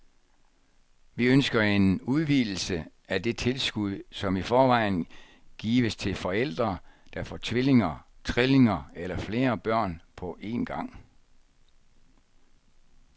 Vi ønsker en udvidelse af det tilskud, som i forvejen gives til forældre, der får tvillinger, trillinger eller flere børn på en gang.